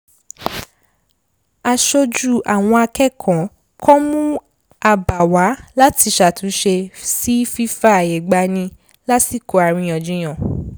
aṣojú àwọn akẹ́kọ̀ọ́ kan mú abà wá láti ṣàtúnṣe sí fífààyègbani lásìkò àríyànjiyàn